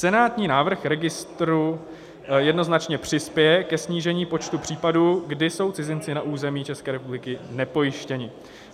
Senátní návrh registru jednoznačně přispěje ke snížení počtu případů, kdy jsou cizinci na území České republiky nepojištěni.